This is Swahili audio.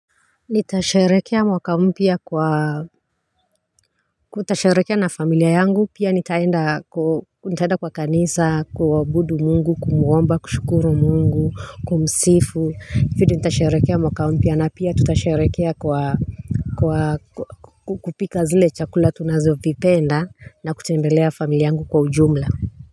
Nitasherehekea mwaka mpya kwa kutasharehekea na familia yangu pia nitaenda ku nitaenda kwa kanisa kuabudu mungu kumuomba kushukuru mungu kumsifu hifidi nitasharehekea mwaka mpya na pia tutasharehekea kwa kwa kupika zile chakula tunazovipenda na kutembelea familia yangu kwa ujumla.